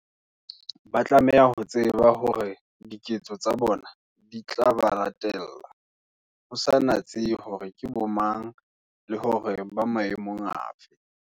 Ba tlameha ho tseba hore diketso tsa bona di tla ba latella, ho sa natsehe hore ke bomang, le hore ba maemong a fe.